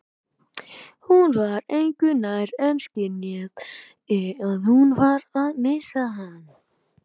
Hún var engu nær en skynjaði að hún var að missa hann.